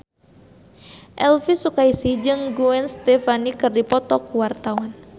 Elvi Sukaesih jeung Gwen Stefani keur dipoto ku wartawan